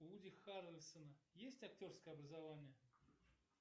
у вуди харрельсона есть актерское образование